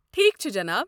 ٹھیٖکھ چھُ، جناب۔